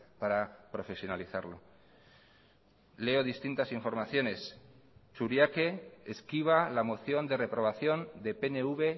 para profesionalizarlo leo distintas informaciones churiaque esquiva la moción de reprobación de pnv